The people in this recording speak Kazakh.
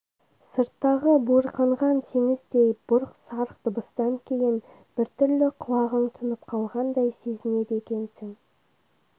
сырттағы буырқанған теңіздей бұрқ-сарқ дыбыстан кейін біртүрлі құлағың тұнып қалғандай сезінеді екенсің